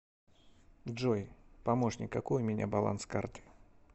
джой помощник какой у меня баланс карты